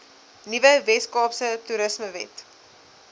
nuwe weskaapse toerismewet